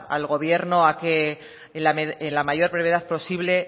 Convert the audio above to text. al gobierno a que en la mayor brevedad posible